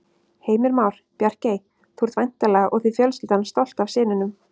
Heimir Már: Bjarkey, þú ert væntanlega og þið fjölskyldan stolt af syninum?